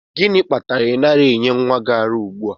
Gịnị kpatara na ị naghị enye nwa gị ara ugbu a?